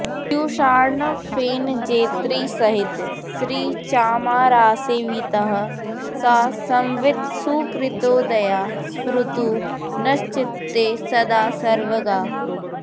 पीयूषार्णवफेनजेतृसहितश्रीचामरासेवितः सा संवित् सुकृतोदया स्फुरतु नश्चित्ते सदा सर्वगा